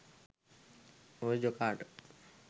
ඔය ජොකාට